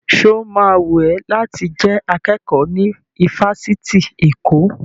Sọ ma wùn ẹ́ láti jẹ́ akẹ́kọ̀ọ́ ní ifásitì Èkó?